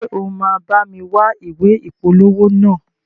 Ṣe o ma bámi wa ìwé ìpolówó naa?